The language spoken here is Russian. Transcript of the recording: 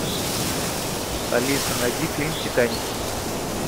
алиса найди фильм титаник